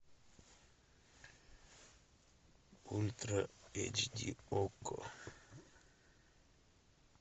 ультра эйч ди окко